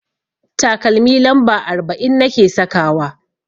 Takalmi lamba arba'in nake sakawa.